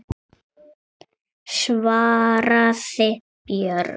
svaraði Björg.